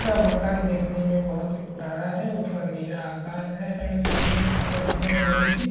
यह मकान देखने मे बहुत पुराना है ऊपर नीला आकाश है एण्ड सामने मे बहुत बड़ी सी --